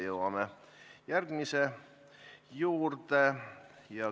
Jõuamegi järgmise juurde.